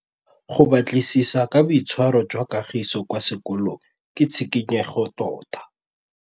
Go batlisisa ka boitshwaro jwa Kagiso kwa sekolong ke tshikinyêgô tota.